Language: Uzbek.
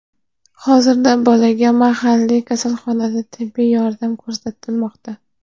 Hozirda bolaga mahalliy kasalxonada tibbiy yordam ko‘rsatilmoqda.